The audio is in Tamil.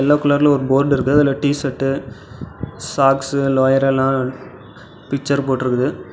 எல்லோ கலர்ல ஒரு போர்டு இருக்கு அதுல டீ_சர்ட் சார்ட்ஸ் லோயர் எல்லாம் பிச்சர் போட்டுருக்குது.